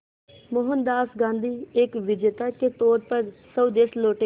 मोहनदास गांधी एक विजेता के तौर पर स्वदेश लौटे